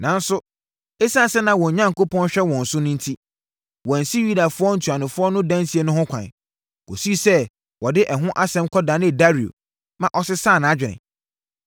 Nanso, ɛsiane sɛ na wɔn Onyankopɔn hwɛ wɔn so enti, wɔansi Yudafoɔ ntuanofoɔ no dansie no ho kwan, kɔsii sɛ wɔde ɛho asɛm kɔdanee Dario, ma ɔsesaa nʼadwene.